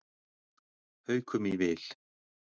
Haukum í vil